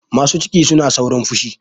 Masu ciki suna saurin fushi.